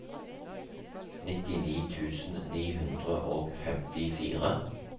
nittini tusen ni hundre og femtifire